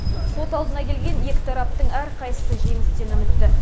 сот алдына келген екі тараптың әрқайсысы жеңістен үмітті